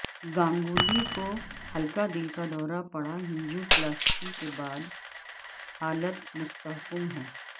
گانگولی کو ہلکا دل کا دورہ پڑا انجیو پلاسٹی کے بعد حالت مستحکم ہے